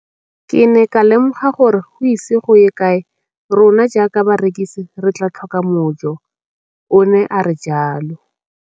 Ke ne ka lemoga gore go ise go ye kae rona jaaka barekise re tla tlhoka mojo, o ne a re jalo.